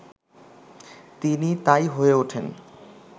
তিনি তা-ই হয়ে ওঠেন